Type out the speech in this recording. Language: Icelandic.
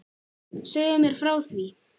Segðu mér frá því.